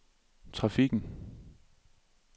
trafikken